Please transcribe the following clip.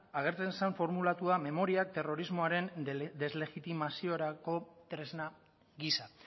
agertzen zen formulatua memoria terrorismoaren deslegitimaziorako tresna gisa